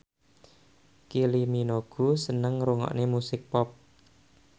Kylie Minogue seneng ngrungokne musik pop